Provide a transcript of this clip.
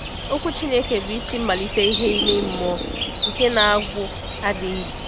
Okwu Chineke bụ isi mmalite ìhè ime mmụọ nke na-agwụ adịghị.